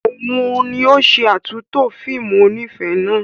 Òun ni ó ṣe àtúntò fíìmù onífẹ̀ẹ́ náà.